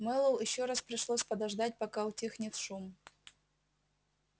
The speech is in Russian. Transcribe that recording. мэллоу ещё раз пришлось подождать пока утихнет шум